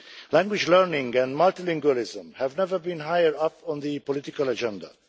Language learning and multilingualism have never been higher on the political agenda.